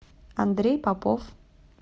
андрей попов